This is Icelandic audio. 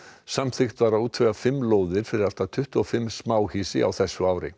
samþykkt var að útvega fimm lóðir fyrir allt að tuttugu og fimm smáhýsi á þessu ári